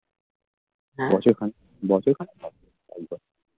বছর খান বছর খানিক লাগবে